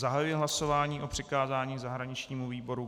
Zahajuji hlasování o přikázání zahraničnímu výboru.